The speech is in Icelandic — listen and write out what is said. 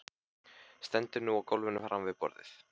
Stendur nú á gólfinu framan við borðið.